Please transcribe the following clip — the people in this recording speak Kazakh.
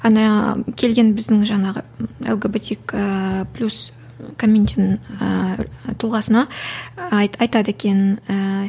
ана келген біздің жаңағы лгбтик ыыы плюс комьюнтин ыыы тұлғасына айтады екен ііі